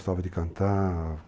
de cantar...